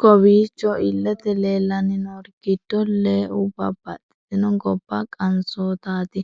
Kowiicho iilete leellani noori giddo lee'u babaxitino gobba qanisootati.